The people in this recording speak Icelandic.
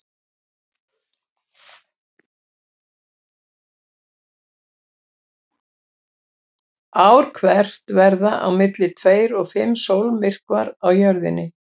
Ár hvert verða á milli tveir til fimm sólmyrkvar á Jörðinni.